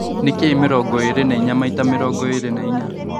Nĩ kĩĩ mĩrongo ĩrĩ na ĩnya maĩta mĩrongo ĩrĩ na ĩnya